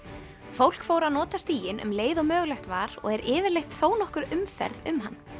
fólk fór að nota stíginn um leið og mögulegt var og er yfirleitt þónokkur umferð um hann